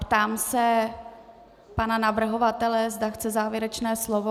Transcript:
Ptám se pana navrhovatele, zda chce závěrečné slovo.